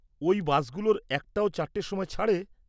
ওই বাসগুলোর একটাও ৪টের সময় ছাড়ে?